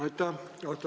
Aitäh!